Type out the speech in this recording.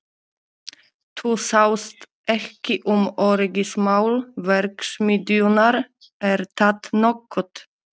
Þú sást ekki um öryggismál verksmiðjunnar, er það nokkuð?